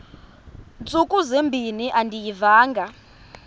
ntsuku zimbin andiyivanga